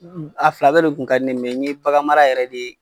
A fila bɛ de kun ka di n ɲe, n ye bagan mara yɛrɛ de.